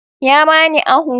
Ya bani ahu.